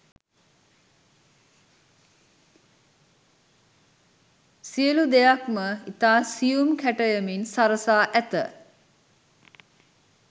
සියලු දෙයක්ම ඉතා සියුම් කැටයමින් සරසා ඇත.